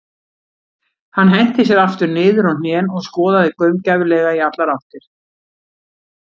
Hann henti sér aftur niður á hnén og skoðaði gaumgæfilega í allar áttir.